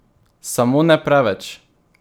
Samo ne preveč!